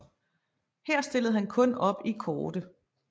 Her stillede han kun op i kårde